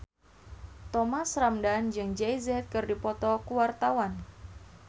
Thomas Ramdhan jeung Jay Z keur dipoto ku wartawan